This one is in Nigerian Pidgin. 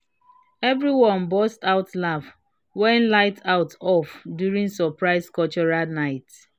everyone burst out laugh when light cut off during surprise cultural night.